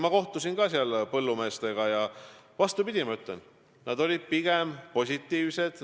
Ma kohtusin seal põllumeestega ja, vastupidi, nad olid pigem positiivsed.